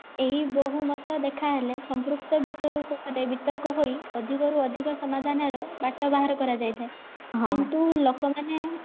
ଏଇ ବହୁମତ ଦେଖାହେଲେ ସମ୍ପୃକ୍ତ ବିଷୟ ଉପରେ ବିତର୍କ ହୋଇ ଅଧିକ ରୁ ଅଧିକ ସମାଧାନ ର ବାଟ ବାହାର କରା ଯାଇ ଥାଏ କିନ୍ତୁ ଲୋକମାନେ